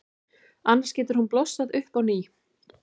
Annars getur hún blossað upp á ný.